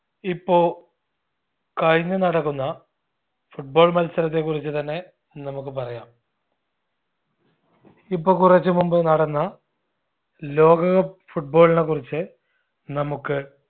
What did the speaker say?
ഇപ്പൊ കഴിഞ്ഞ് നടക്കുന്ന football മത്സരത്തെ കുറിച്ചുതന്നെ നമ്മുക്ക് പറയാം ഇപ്പൊ കുറച്ച് മുമ്പ് നടന്ന ലോക cup football നെ കുറിച്ച് നമ്മുക്ക്